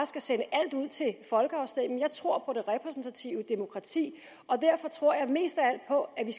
skal sende alt ud til folkeafstemning jeg tror på det repræsentative demokrati og derfor tror jeg mest af alt på at vi